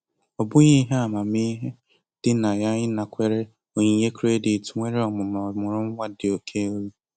Ọ bụghị ihe amamihe dị na ya ịnakwere onyinye kredit nwere ọnụma ọmụrụ nwa dị oke elu.